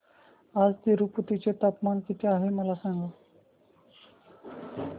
आज तिरूपती चे तापमान किती आहे मला सांगा